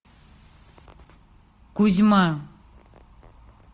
кузьма